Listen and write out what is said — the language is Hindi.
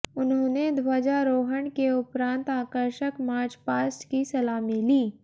उन्होंने ध्वजारोहण के उपरान्त आकर्षक मार्च पास्ट की सलामी ली